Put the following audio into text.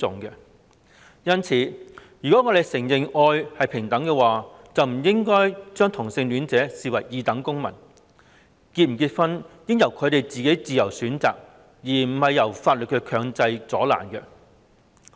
因此，如果我們承認愛是平等，便不應將同性戀者視為二等公民，是否結婚應由他們自由選擇，而非藉着法律強加阻撓。